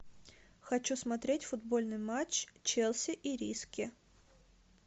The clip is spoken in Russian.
хочу смотреть футбольный матч челси ириски